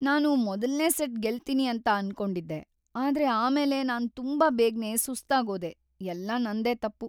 ನಾನು ಮೊದಲ್ನೇ ಸೆಟ್ ಗೆಲ್ತೀನಿ ಅಂತ ಅನ್ಕೊಂಡಿದ್ದೆ, ಆದ್ರೆ ಆಮೇಲೆ ನಾನ್ ತುಂಬಾ ಬೇಗ್ನೇ ಸುಸ್ತಾಗೋದೆ, ಎಲ್ಲ ನಂದೇ ತಪ್ಪು.